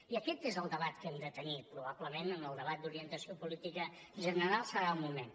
i aquest és el debat que hem de tenir probablement en el debat d’orientació política general serà el moment